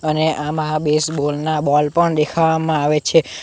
ને આમાં બેસબોલ ના બોલ પણ દેખાવામાં આવે છે.